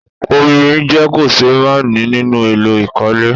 Omi jẹ́ kòṣeémánìí nínú èlò ìkọ́lé